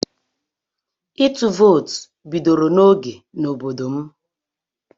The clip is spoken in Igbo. Ịtụ vootu bidoro n'oge n'obodo m.